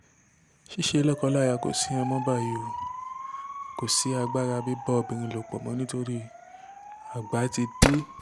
ṣíṣe lọ́kọ-láya kò sí ìyẹn mọ́ báyìí o kò sí agbára bíbá obìnrin lò pọ̀ mọ́ nítorí àgbà ti dé